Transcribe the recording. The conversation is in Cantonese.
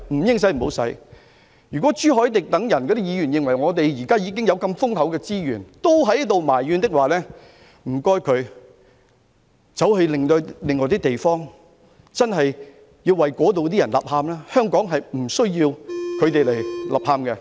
如果朱凱廸議員等人在現時資源如此豐厚之際也要埋怨，請他們到其他地方為當地的人吶喊，香港無須他們吶喊。